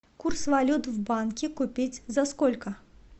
курс валют в банке купить за сколько